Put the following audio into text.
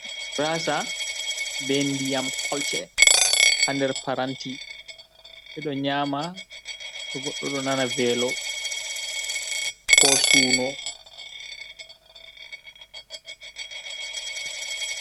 Maasa be ndiyam kolce ha nder paranti, ɓe ɗo nyaama to´a ɗon nana veelo koo suno.